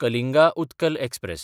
Kalinga Utkal express